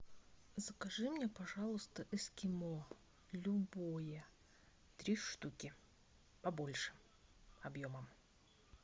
закажи мне пожалуйста эскимо любое три штуки побольше объемом